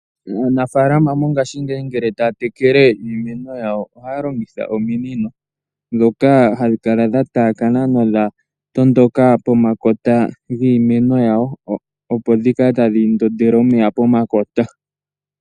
Aanafalama mongashingeyi uuna taya tekele iimeno yawo ohaya longitha ominino ndhoka hadhi kala dha taakana nodha tondoka pomakota giimeno yawo opo dhikale tadhi ndondele omeya pomakota.